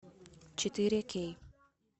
четыре кей